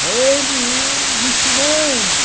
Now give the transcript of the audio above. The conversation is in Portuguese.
Tem que ir ensinando